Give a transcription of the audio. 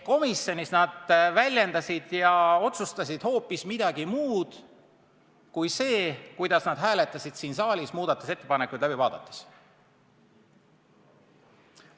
Komisjonis väljendasid ja otsustasid nad hoopis midagi muud kui siin saalis muudatusettepanekuid läbi vaadates ja hääletades.